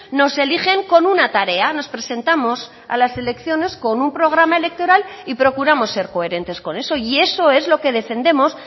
nos eligen con una tarea nos presentamos a las elecciones con un programa electoral y procuramos ser coherentes con eso y eso es lo que defendemos